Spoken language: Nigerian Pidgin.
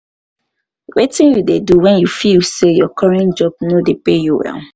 wetin you dey do when you dey feel say your current job no dey pay you well?